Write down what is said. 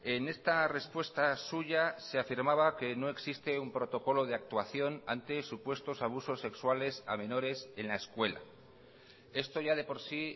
en esta respuesta suya se afirmaba que no existe un protocolo de actuación ante supuestos abusos sexuales a menores en la escuela esto ya de por sí